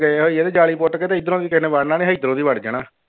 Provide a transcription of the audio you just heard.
ਗਏ ਹੋਈਏ ਤੇ ਜਾਲੀ ਪੁੱਟ ਕੇ ਤੇ ਇੱਧਰੋਂ ਦੀ ਕਿਸੇ ਨੇ ਵੜਨਾ ਨੀ ਇੱਧਰੋਂ ਦੀ ਵੜ੍ਹ ਜਾਣਾ।